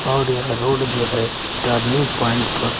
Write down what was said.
और यह रोड जो है टर्निंग पॉइंट पर--